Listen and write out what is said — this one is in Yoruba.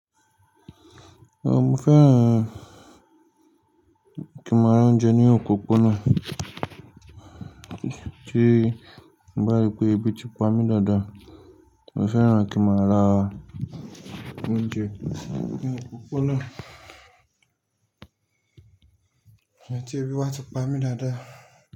Rárá, mo fẹ́ran kí ń máa ra oúnjẹ ní òpópónà, tí mo bá rí pé ibi ti pamí́ dáadáa. Mo fẹ́ran kí ń máa ra oúnjẹ ní òpópónà iyẹ́tí ibi wa ti pamí dáadáa.